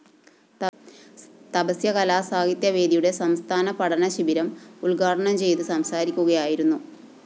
തപസ്യ കലാസാഹിത്യ വേദിയുടെ സംസ്ഥാന പഠനശിബിരം ഉദ്ഘാടനം ചെയ്ത് സംസാരിക്കുകയായിരുന്നു